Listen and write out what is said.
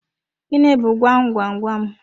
Gịnị bu gwam gwam gwam?